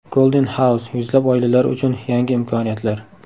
Golden House: Yuzlab oilalar uchun yangi imkoniyatlar.